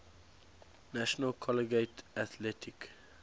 national collegiate athletic